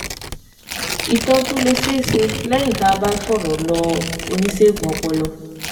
Ìtọ́jú lè ṣeé ṣe lẹ́yìn tí a bá ti fọ̀rọ̀ lọ oníṣègùn ọpọlọ